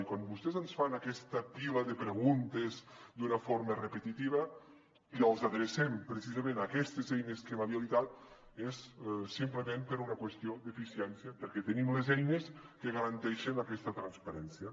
i quan vostès ens fan aquesta pila de preguntes d’una forma repetitiva i els adrecem precisament a aquestes eines que hem habilitat és simplement per una qüestió d’eficiència perquè tenim les eines que garanteixen aquesta transparència